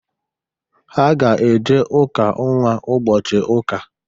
Ha ga-eje ụka nnwa ụbọchị ụka.